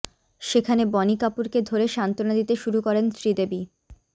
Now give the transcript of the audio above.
সেখানে বনি কাপুরকে ধরে সান্তনা দিতে শুরু করেন শ্রীদেবী